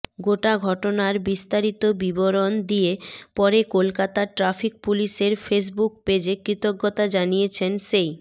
গোটা ঘটনার বিস্তারিত বিবরণ দিয়ে পরে কলকাতা ট্র্যাফিক পুলিশের ফেসবুক পেজে কৃতজ্ঞতা জানিয়েছেন সেই